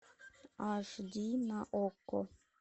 аш ди на окко